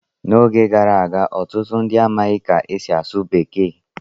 N'oge gara aga, ọtụtụ ndị amaghị ka e si asụ Bekee.